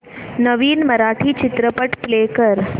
नवीन मराठी चित्रपट प्ले कर